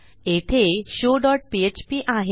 येथे show dot PHP आहे